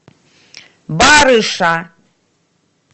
барыша